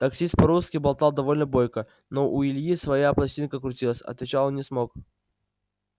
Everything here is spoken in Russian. таксист по-русски болтал довольно бойко но у ильи своя пластинка крутилась отвечал он не смог